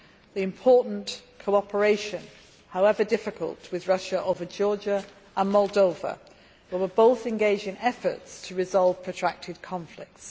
the important cooperation however difficult with Russia over Georgia and Moldova, which are both engaged in efforts to resolve protracted conflicts.